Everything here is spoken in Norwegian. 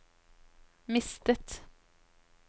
mistet